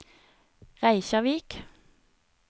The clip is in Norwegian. Reykjavík